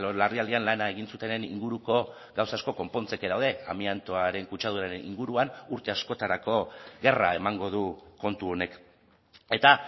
larrialdian lana egin zutenen inguruko gauza asko konpontzeke daude amiantoaren kutsaduraren inguruan urte askotarako gerra emango du kontu honek eta